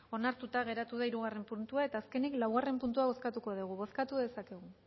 onartuta geratu da hirugarrena puntua eta azkenik laugarrena puntua bozkatuko dugu bozkatu dezakegu